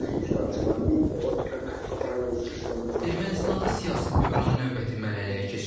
İştirakçılar Ermənistan siyasi böhran növbəti mərhələyə keçib.